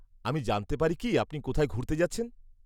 আমি জানতে পারি কি আপনি কোথায় ঘুরতে যাচ্ছেন?